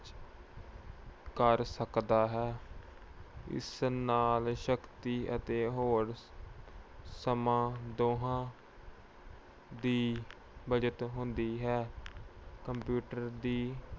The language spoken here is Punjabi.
ਕਰ ਸਕਦਾ ਹੈ। ਇਸ ਨਾਲ ਸ਼ਕਤੀ ਅਤੇ ਹੋਰ ਸਮਾਂ ਦੋਹਾਂ ਦੀ ਬਚਤ ਹੁੰਦੀ ਹੈ। computer ਦੀ